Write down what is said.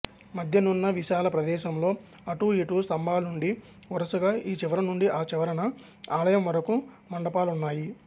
మధ్యనున్న విశాల ప్రదేశంలో అటు ఇటు స్తంభాలుండి వరుసగా ఈ చివర నుండి ఆ చివరన ఆలయం వరకు మండపాలున్నాయి